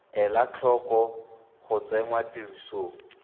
ela tlhoko go tsenngwa tirisong